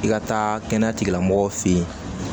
I ka taa kɛnɛya tigilamɔgɔw fɛ yen